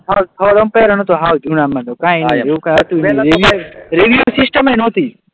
કઈ નહીં એવું કઈ હતું નહીં,